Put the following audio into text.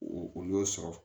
O o y'o sɔrɔ